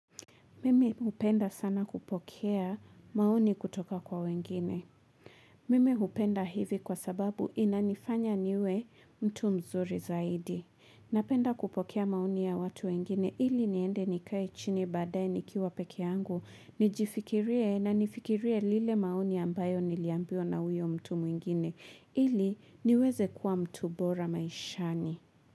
Mimi upenda sana kupokea maoni kutoka kwa wengine. Mimi upenda hivi kwa sababu inanifanya niwe mtu mzuri zaidi. Napenda kupokea maoni ya watu wengine ili niende nikae chini baadae nikiwa peke angu. Nijifikirie na nifikirie lile maoni ambayo niliambiwa na huyo mtu mwingine. Ili niweze kuwa mtu bora maishani.